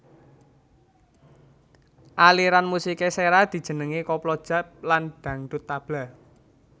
Aliran musikè Sèra dijenengi Koplo Jap lan dangdut tabla